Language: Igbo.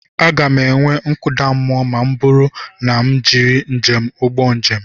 Aga m enwe nkụda mmụọ ma ọ bụrụ na m ejiri njem ụgbọ njem.